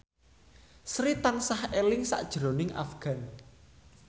Sri tansah eling sakjroning Afgan